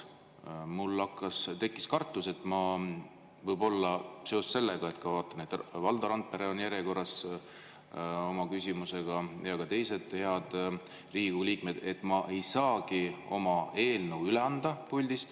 Mul tekkis kartus, et ma võib-olla seoses sellega, et vaatan, et Valdo Randpere on oma küsimusega järjekorras ja ka teised head Riigikogu liikmed, ei saagi oma eelnõu puldist üle anda.